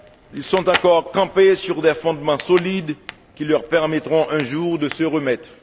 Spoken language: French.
ils sont encore campés sur des fondements solides qui leur permettront un jour de se remettre.